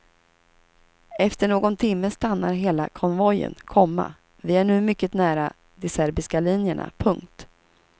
Efter någon timme stannar hela konvojen, komma vi är nu mycket nära de serbiska linjerna. punkt